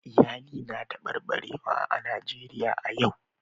Iyali na tabarbarewa a Najeriya a yau